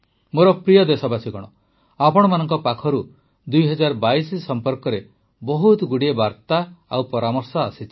ମୋର ପ୍ରିୟ ଦେଶବାସୀଗଣ ଆପଣମାନଙ୍କ ପାଖରୁ ୨୦୨୨ ସମ୍ପର୍କରେ ବହୁତଗୁଡ଼ାଏ ବାର୍ତ୍ତା ଓ ପରାମର୍ଶ ଆସିଛି